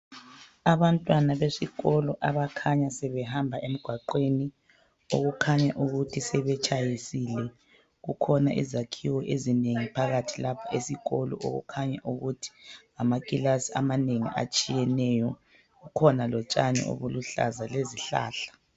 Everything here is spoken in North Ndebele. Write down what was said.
abantwana besikolo abakhanya sebehamba emgwaqweni okukhanya ukuthi sebetshayisile kukhona izakhiwo ezinengi phakathi kwesikolo okukhanya ukuthi amakilasi amanengi atshiyeneyo kukhona lotshani obuluhlaza lezihlahla